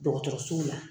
Dɔgɔtɔrɔso la